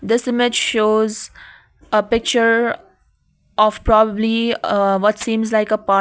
this image shows a picture of probably ah what seems like a par --